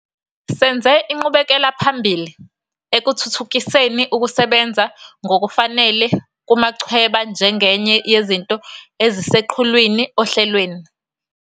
Senze inqubekelaphambili ekuthuthukiseni ukusebenza ngokufanele kumachweba njengenye yezinto eziseqhulwini ohlelweni.